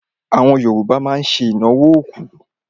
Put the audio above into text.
Àwọn Yorùbá má ń ṣe ìnáwó òkú.